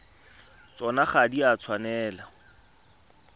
tsona ga di a tshwanela